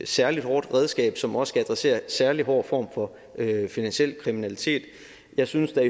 særlig hårdt redskab som også skal adressere en særlig hård form for finansiel kriminalitet jeg synes at jeg